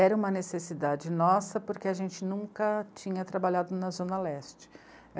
Era uma necessidade nossa porque a gente nunca tinha trabalhado na Zona Leste.